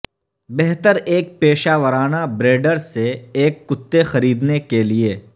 بہتر ایک پیشہ ورانہ بریڈر سے ایک کتے خریدنے کے لئے